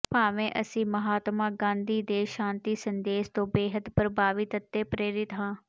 ਭਾਵੇਂ ਅਸੀਂ ਮਹਾਤਮਾ ਗਾਂਧੀ ਦੇ ਸ਼ਾਤੀ ਸੰਦੇਸ਼ ਤੋਂ ਬੇਹੱਦ ਪ੍ਰਭਾਵਿਤ ਅਤੇ ਪ੍ਰੇਰਿਤ ਹਾਂ